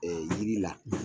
yiri la